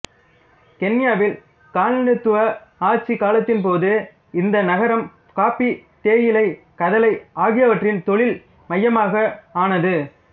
கென்யாவில் காலனித்துவ ஆட்சிக் காலத்தின்போது இந்த நகரம் காபி தேயிலை கதலை ஆகியவற்றின் தொழில் மையமாக ஆனது